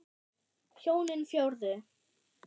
Hjónin fjórðu.